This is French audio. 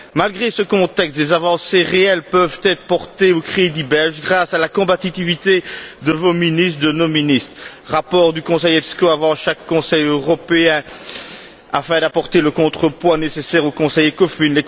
Malgré ce contexte, des avancées réelles peuvent être portées au crédit de la Belgique grâce à la combativité de vos ministres, de nos ministres le rapport du Conseil EPSCO avant chaque Conseil européen afin d'apporter le contrepoids nécessaire au Conseil ECOFIN